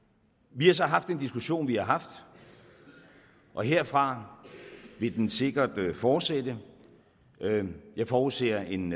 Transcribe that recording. vi har så haft den diskussion vi har haft og herfra vil den sikkert fortsætte jeg forudser en